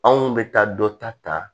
Anw bɛ taa dɔ ta ta